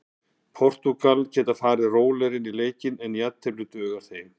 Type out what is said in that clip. Portúgal geta farið rólegri inn í leikinn en jafntefli dugar þeim.